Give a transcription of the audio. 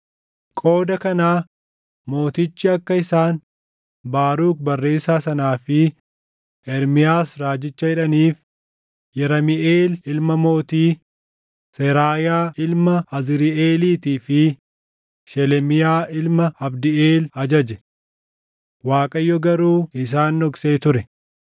Qooda kanaa mootichi akka isaan Baaruk barreessaa sanaa fi Ermiyaas raajicha hidhaniif Yeramiʼeel ilma mootii, Seraayaa ilma Azriiʼeeliitii fi Shelemiyaa ilma Abdiʼeel ajaje. Waaqayyo garuu isaan dhoksee ture.